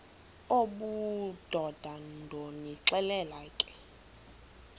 obudoda ndonixelela ke